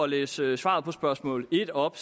læse svaret på spørgsmål en op